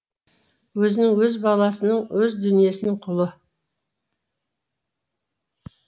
өзінің өз баласының өз дүниесінің құлы